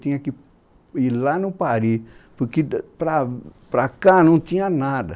Tinha que ir lá no Pari, porque para, para cá não tinha nada.